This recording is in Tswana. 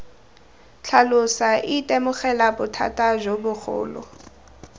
tlhalosa itemogela bothata jo bogolo